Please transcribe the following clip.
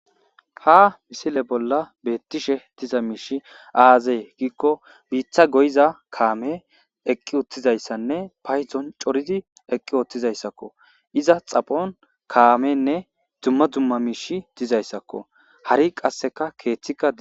ha misile bolla beettishe diza miishi aazee giikko biitta goyiza kaamey eqqi uttizayssanne paydon coridi eqqi oottizayssakko iza xaphon kaamenne dumma dumma miishi dizayssakko hari qasseka keeththikka dees